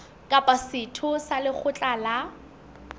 kapa setho sa lekgotla la